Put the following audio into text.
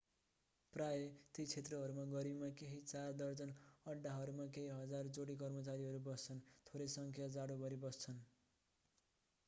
प्रायः ती क्षेत्रहरूमा गर्मीमा केही चार दर्जन अड्‍डाहरूमा केही हजार जोडी कर्मचारीहरू बस्छन्; थोरै संख्या जाडोभरि बस्छन्।